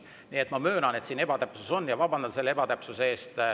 Nii et ma möönan, et siin on ebatäpsus, ja vabandan selle ebatäpsuse eest.